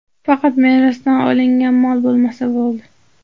Faqat merosdan olingan mol bo‘lmasa bo‘ldi.